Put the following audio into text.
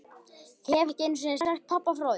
Ég hef ekki einu sinni sagt pabba frá því.